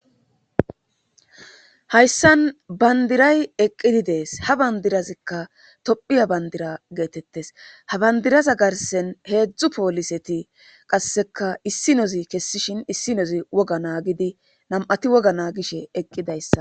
hayssan bandiray eqqidi dees ha bandirazikka tophiya bandira geetettes ha bandiraza garsen heedzdzu pooliseti qasseka issi nozi kessishin issi nozi woga naagidi nam7ati woga naa gishe eqqidayssa